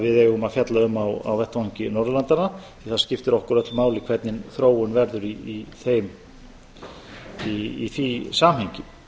við eigum að fjalla um á vettvangi norðurlandanna því að það skiptir okkur öll máli hvernig þróun verður í því samhengi